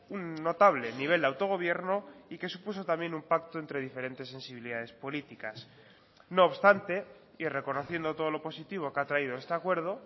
un notable nivel de autogobierno y que supuso también un pacto entre diferentes sensibilidades políticas no obstante y reconociendo todo lo positivo que ha traído este acuerdo